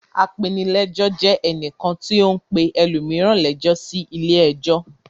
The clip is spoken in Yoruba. Apenilẹ́jọ́ jẹ ẹnìkan tí ó ń pe ẹlòmíràn lẹ́jọ́ sí ilé-ẹjọ́.